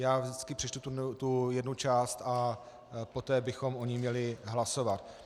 Já vždycky přečtu tu jednu část a poté bychom o ní měli hlasovat.